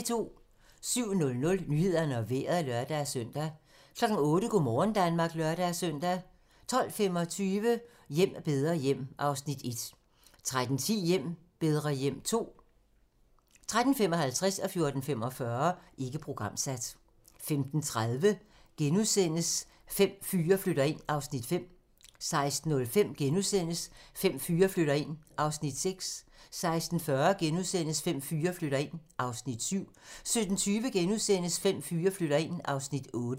07:00: Nyhederne og Vejret (lør-søn) 08:00: Go' morgen Danmark (lør-søn) 12:25: Hjem bedre hjem (Afs. 1) 13:10: Hjem bedre hjem (Afs. 2) 13:55: Ikke programsat 14:45: Ikke programsat 15:30: Fem fyre flytter ind (Afs. 5)* 16:05: Fem fyre flytter ind (Afs. 6)* 16:40: Fem fyre flytter ind (Afs. 7)* 17:20: Fem fyre flytter ind (Afs. 8)*